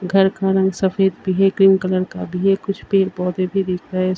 घर का रंग सफ़ेद भी है ग्रीन कलर का भी हैं कुछ पेड़-पौधे भी दिख रहे --